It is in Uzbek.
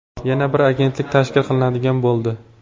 Yana bir agentlik tashkil qilinadigan bo‘ldi.